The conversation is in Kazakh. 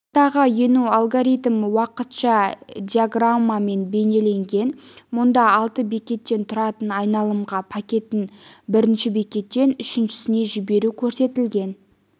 ортаға ену алгоритмі уақытша диаграммамен бейнеленген мұнда алты бекеттен тұратын айналымға пакетін бірінші бекеттен үшіншісіне жіберу көрсетілген